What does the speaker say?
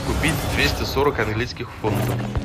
купить двести сорок английских фунтов